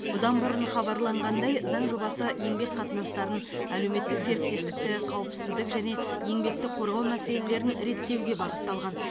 бұдан бұрын хабарланғандай заң жобасы еңбек қатынастарын әлеуметтік серіктестікті қауіпсіздік және еңбекті қорғау мәселелерін реттеуге бағытталған